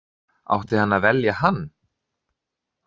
Átti hann að velja hann?